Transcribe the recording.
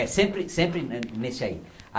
É, sempre sempre ne nesse aí.